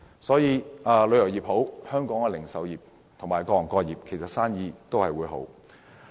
所以，旅遊業興旺，本地零售業和各行各業的生意也會興旺。